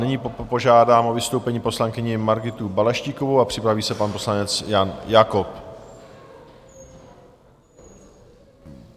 Nyní požádám o vystoupení poslankyni Margitu Balaštíkovou a připraví se pan poslanec Jan Jakob.